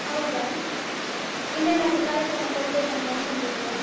ಹೌದಾ? ಇನ್ ಏನಾದ್ರು ಕಾರ್ಯಕ್ರಮ ಕೊಡ್ಬೇಕಂತ ಅಂದ್ಕೊಂಡಿದ್ದೀಯಾ?